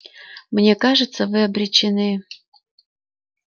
мне кажется вы обречены